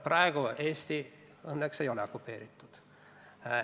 Praegu Eesti õnneks ei ole okupeeritud.